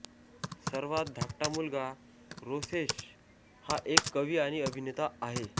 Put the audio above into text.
सर्वात धाकटा मुलगा रोसेश हा एक कवी आणि अभिनेता आहे